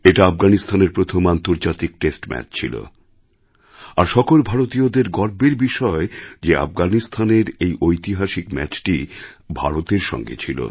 এটা আফগানিস্তানের প্রথম আন্তর্জাতিক টেস্ট ম্যাচ ছিল আর সকল ভারতীয়দের গর্বের বিষয় যে আফগানিস্তানের এই ঐতিহাসিক ম্যাচটি ভারতের সঙ্গে ছিল